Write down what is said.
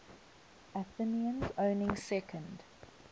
athenians owning second